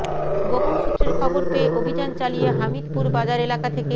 গোপন সূত্রের খবর পেয়ে অভিযান চালিয়ে হামিদপুর বাজার এলাকা থেকে